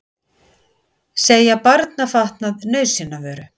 Segja barnafatnað nauðsynjavöru